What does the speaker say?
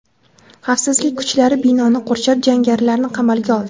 Xavfsizlik kuchlari binoni qurshab, jangarilarni qamalga oldi.